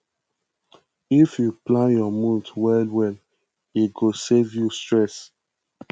if yu plan yur month well well e go save you stress